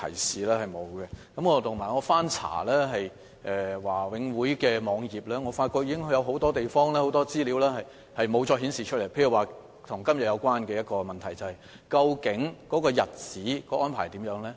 此外，我曾翻查華永會的網頁，發覺有很多資料已無法再顯示，例如與今天這項質詢有關的一些資料，即日期方面的安排。